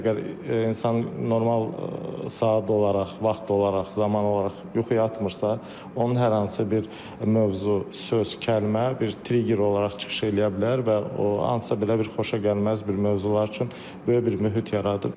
Çünki əgər insan normal saat olaraq, vaxt olaraq, zaman olaraq yuxu yatmırsa, onun hər hansı bir mövzu, söz, kəlmə bir trigger olaraq çıxış eləyə bilər və o hansısa belə bir xoşagəlməz bir mövzular üçün böyük bir mühit yaradır.